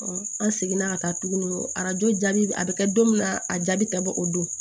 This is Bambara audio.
an seginna ka taa tuguni arajo jaabi a bɛ kɛ don min na a jaabi tɛ bɔ o don